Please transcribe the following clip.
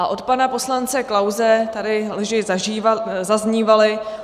A od pana poslance Klause tady lži zaznívaly.